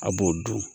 A b'o dun